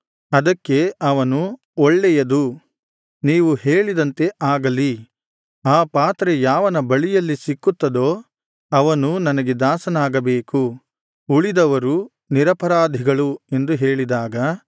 ಅದಕ್ಕೆ ಅವನು ಒಳ್ಳೆಯದು ನೀವು ಹೇಳಿದಂತೆ ಆಗಲಿ ಆ ಪಾತ್ರೆ ಯಾವನ ಬಳಿಯಲ್ಲಿ ಸಿಕ್ಕುತ್ತದೋ ಅವನು ನನಗೆ ದಾಸನಾಗಬೇಕು ಉಳಿದವರು ನಿರಪರಾಧಿಗಳು ಎಂದು ಹೇಳಿದಾಗ